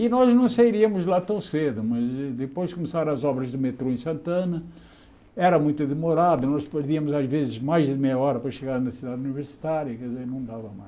E nós não sairíamos de lá tão cedo, mas depois começaram as obras do metrô em Santana, era muito demorado, nós podíamos, às vezes, mais de meia hora para chegar na cidade universitária, quer dizer, não dava mais.